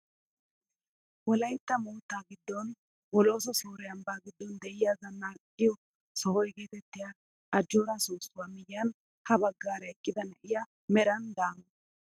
Wolaytta moottaa giddon bolooso sore ambbaa giddon de'iyaa zanaqqiyoo soho getettiyaa ajjoora soossuwaa miyiyan ha baggaara eqqida na'iyaa meran daama!